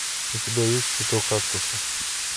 у тебя есть цветок кактуса